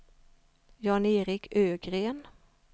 Jan-Erik Ögren